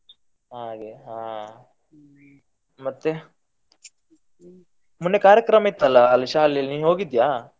ಹಾಗೆ ಹಾ ಮತ್ತೆ ಮೊನ್ನೆ ಕಾರ್ಯಕ್ರಮ ಇತ್ತಲ್ಲ ಅಲ್ಲಿ ಶಾಲೆಯಲ್ಲಿ ನೀ ಹೋಗಿದ್ಯಾ?